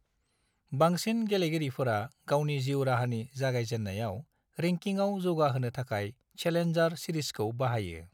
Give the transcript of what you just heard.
बांसिन गेलेगिरिफोरा गावनि जिउ राहानि जागायजेन्नायाव रेंकिंआव जौगाहोनो थाखाय चेलेन्जार सिरिसखौ बाहायो।